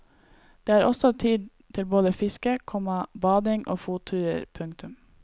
Det er også tid til både fiske, komma bading og fotturer. punktum